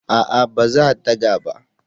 A'a ba za daga ba